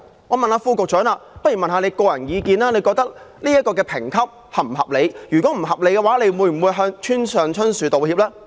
我想問局長的個人意見，他認為審裁處的評級是否合理；如果不合理，他會否向村上春樹道歉？